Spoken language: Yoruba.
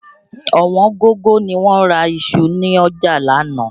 Ọ̀wọ́n gógó ni wọ́n ra iṣu ni ọjà l'ánàá